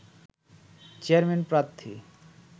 chairman প্রার্থী